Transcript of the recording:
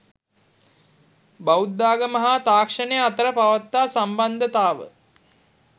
බෞද්ධාගම හා තාක්ෂණය අතර පවත්නා සම්බන්ධතාව,